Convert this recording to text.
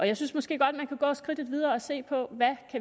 jeg synes måske godt man kan gå skridtet videre og se på hvad